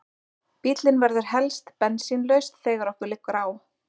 Bíllinn verður helst bensínlaus þegar okkur liggur á.